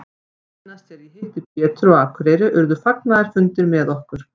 Seinast þegar ég hitti Pétur á Akureyri urðu fagnaðarfundir með okkur.